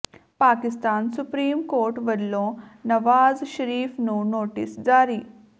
Pak supreme court ਵੱਲੋਂ ਨਵਾਜ਼ ਸ਼ਰੀਫ ਨੂੰ notice ਜਾਰੀ